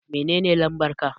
Menene lambar ka?